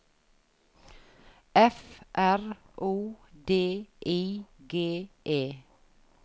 F R O D I G E